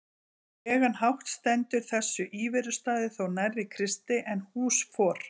legan hátt stendur þessi íverustaður þó nær Kristi en hús for